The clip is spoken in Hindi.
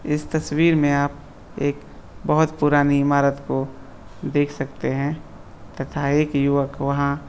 इस तस्वीर में आप एक बहुत पुरानी इमारत को देख सकते हैं तथा एक युवक वहां--